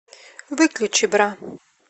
выключи бра